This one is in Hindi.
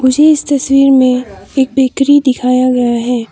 मुझे इस तस्वीर में एक बेकरी दिखाया गया है।